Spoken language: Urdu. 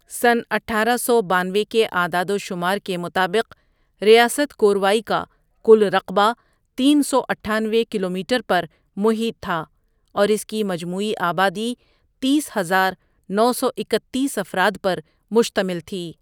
سنہ اٹھارہ سو بانوے کے اعداد و شمار کے مطابق ریاست کوروائی کا کل رقبہ تین سو اٹھانوے کلومیٹر پر محیط تھا اور اس کی مجموعی آبادی تیس ہزار نو سو اکتیس افراد پر مشتمل تھی۔